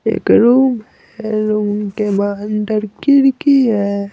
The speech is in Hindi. एक रूम है रूम के बाहर अंदर खिड़की है।